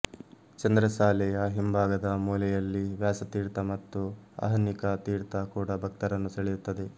ಚಂದ್ರಸಾಲೆಯ ಹಿಂಭಾಗದ ಮೂಲೆಯಲ್ಲಿ ವ್ಯಾಸತೀರ್ಥ ಮತ್ತು ಆಹ್ನಿಕ ತೀರ್ಥ ಕೂಡ ಭಕ್ತರನ್ನು ಸೆಳೆಯುತ್ತದೆ